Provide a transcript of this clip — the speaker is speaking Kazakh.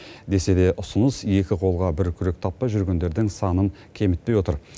десе де ұсыныс екі қолға бір күрек таппай жүргендердің санын кемітпей отыр